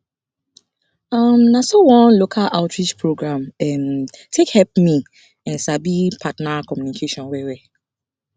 um na so one local outreach program um take help me um sabi partner communication well well